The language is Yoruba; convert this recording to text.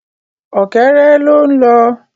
Ọ̀kẹ́rẹ́ ló ń lọ